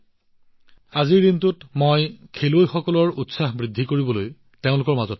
আজিৰ দিনটোত মই তেওঁলোকক উৎসাহিত কৰিবলৈ খেলুৱৈসকলৰ মাজত থাকিম